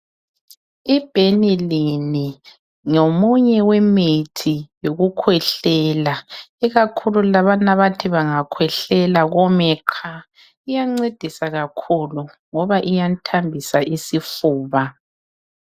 I Benylin ngomunye wemithi yokukhwehlela ikakhulu labana abathi bangakhwehlela kome qha, iyancedisa kakhulu ngoba iyathambisa isifuba.